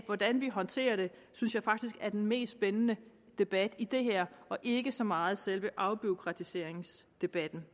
hvordan vi håndterer det synes jeg faktisk er den mest spændende debat i det her og ikke så meget selve afbureaukratiseringsdebatten